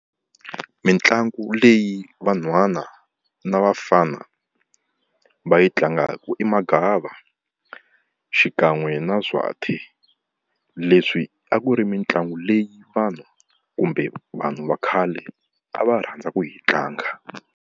Mitlangu leyi vanhwanyana ni vafana va yi tlangaka i magava xikan'we na zwathi. Leswi a ku ri mitlangu leyi vanhu kumbe vanhu va khale a va rhandza ku yi tlanga.